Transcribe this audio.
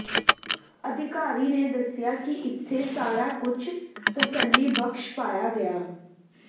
ਅਧਿਕਾਰੀ ਨੇ ਦੱਸਿਆ ਕਿ ਇੱਥੇ ਸਾਰਾ ਕੁਝ ਤਸੱਲੀਬਖ਼ਸ਼ ਪਾਇਆ ਗਿਆ